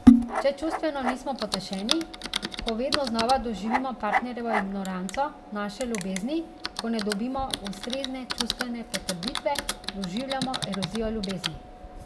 Če čustveno nismo potešeni, ko vedno znova doživimo partnerjevo ignoranco naše ljubezni, ko ne dobimo ustrezne čustvene potrditve, doživljamo erozijo ljubezni.